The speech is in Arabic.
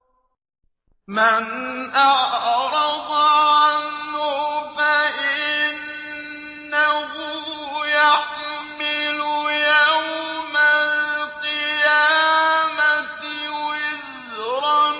مَّنْ أَعْرَضَ عَنْهُ فَإِنَّهُ يَحْمِلُ يَوْمَ الْقِيَامَةِ وِزْرًا